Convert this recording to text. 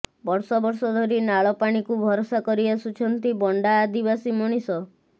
ବର୍ଷ ବର୍ଷ ଧରି ନାଳ ପାଣିକୁ ଭରସା କରି ଆସୁଛନ୍ତି ବଣ୍ଡା ଆଦିବାସୀ ମଣିଷ